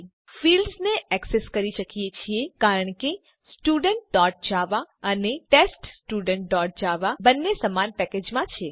આપણે ફિલ્ડ્સ ને એક્સેસ કરી શકીએ છીએ કારણ કે studentજાવા અને teststudentજાવા બંને સમાન પેકેજ માં છે